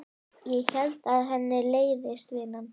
Ég held að henni leiðist vinnan.